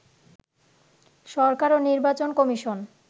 সরকার ও নির্বাচন কমিশন